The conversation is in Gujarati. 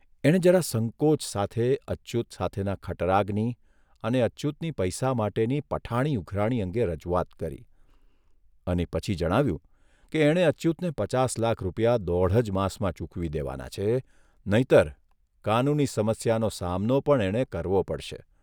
એણે જરા સંકોચ સાથે અચ્યુત સાથેના ખટરાગની અને અચ્યુતની પૈસા માટેની પઠાણી ઉઘરાણી અંગે રજૂઆત કરી અને પછી જણાવ્યું કે એણે અચ્યુતને પચાસ લાખ રૂપિયા દોઢ જ માસમાં ચૂકવી દેવાના છે, નહીંતર કાનૂની સમસ્યાનો સામનો પણ એણે કરવો પડશે.